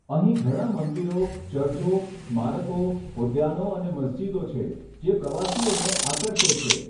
અહીં ઘણા મંદિરો, ચર્ચો, સ્મારકો, ઉદ્યાનો અને મસ્જિદો છે જે પ્રવાસીઓને આકર્ષે છે.